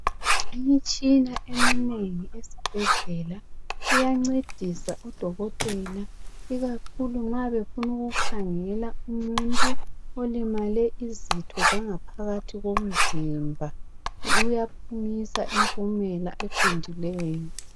Imitshina eminengi esibhedlela iyancedisa odokotela, ikakhulu nxa befuna ukukhangela umuntu olimele izitho zangaphakathi komzimba, uyaphumisa impumela eqondileyo.